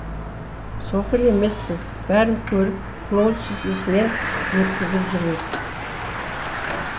соқыр емеспіз бәрін көріп көңіл сүзгісінен өткізіп жүреміз